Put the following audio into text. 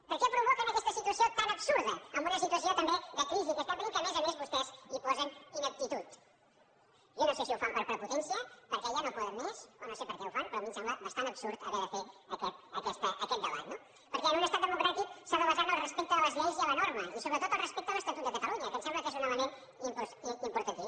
per què provoquen aquesta situació tan absurda en una situació també de crisi que estem patint que a més a més vostès hi posen ineptitud jo no sé si ho fan per prepotència perquè ja no poden més o no sé per què ho fan però a mi em sembla bastant absurd haver de fer aquest debat no perquè en un estat democràtic s’ha de basar en el respecte de les lleis i la norma i sobretot en el respecte a l’estatut de catalunya que em sembla que és un element importantíssim